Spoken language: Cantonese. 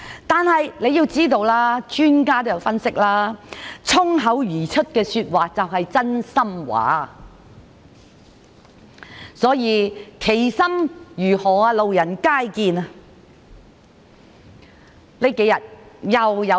但是，專家也有分析，衝口而出的說話便是真心話，所以，其心如何，路人皆見。